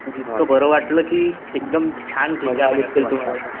इतकं बरं वाटलं कि एकदम छान